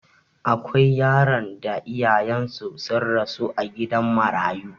Akwai yaran da iyayensu sun rasu a gidan marayu.